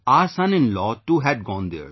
Our son in law too had gone there